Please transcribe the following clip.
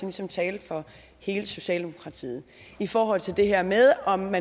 ligesom tale for hele socialdemokratiet i forhold til det her med om